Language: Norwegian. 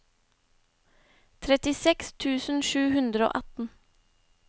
trettiseks tusen sju hundre og atten